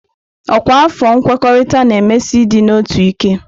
Ọkwa afọ nkwekọrịta na-emesi ịdị n'otu ike.